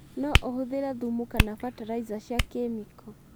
No ũhũthĩre thumu kana bataraiza cia kemiko.